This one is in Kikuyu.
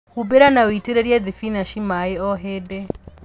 Humbĩra na ũitĩrĩlie thibinachi maĩĩ o hĩndi